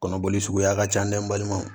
Kɔnɔboli suguya ka ca dɛ n balimaw